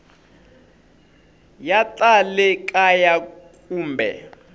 ya ta le kaya kumbe